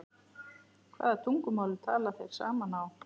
Hvaða tungumáli tala þeir saman á?